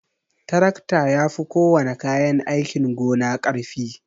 Tarakta yafi kowana kayan aikin gona karfi.